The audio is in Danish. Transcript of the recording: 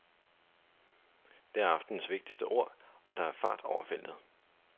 Det er aftenens vigtigste ord, og der er fart over feltet.